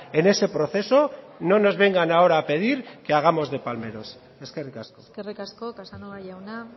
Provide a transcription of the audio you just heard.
en ese proceso no nos vengan ahora a pedir que hagamos de palmeros eskerrik asko eskerrik asko casanova jauna